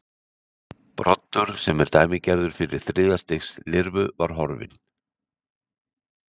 Broddur sem er dæmigerður fyrir þriðja stigs lirfur var horfinn.